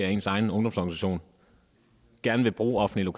at ens egen ungdomsorganisation gerne vil bruge offentlige